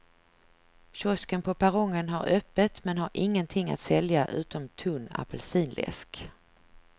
Kiosken på perrongen har öppet men har ingenting att sälja utom tunn apelsinläsk.